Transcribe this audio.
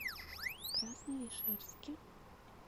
красновишерске